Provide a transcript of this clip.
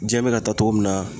Diɲɛ be ka taa cogo min na